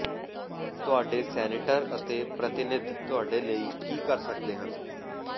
ਤੁਹਾਡੇ ਸੈਨੇਟਰ ਅਤੇ ਪ੍ਰਤੀਨਿਧ ਤੁਹਾਡੇ ਲਈ ਕੀ ਕਰ ਸਕਦੇ ਹਨ